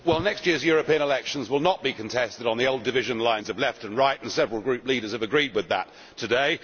Mr President, next year's European election will not be contested on the old division lines of left and right and several group leaders have agreed with that today.